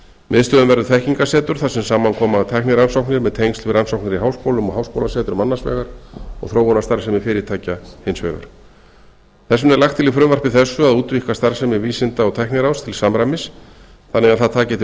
miðstöðin verður þekkingarsetur þar sem saman koma tæknirannsóknir með tengsl við rannsóknir í háskólum og háskólasetrum annars vegar og þróunarstarfsemi fyrirtækja hins vegar þess vegna er lagt til í frumvarpi þessu að útvíkka starfsemi vísinda og tækniráðs til samræmis þannig að það taki til